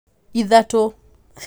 ithatu